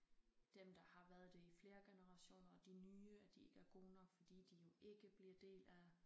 Dem der har været det i flere generation og de nye og de ikke er gode nok fordi de jo ikke bliver del af